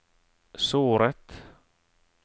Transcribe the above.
såret